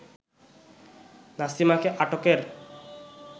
নাসিমাকে আটকের